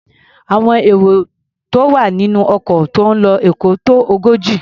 Àwọn èrò tó wà nínú ọkọ̀ tó ń lo Èkó tó ogójì.